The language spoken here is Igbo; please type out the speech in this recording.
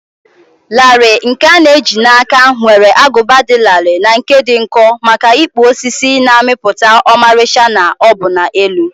larịị nkè a na eji na áká nwere agụba dị larịị na nke dị nkọ maka ịkpụ osisi, na-amịpụta ọmarịcha na ọbụna elu.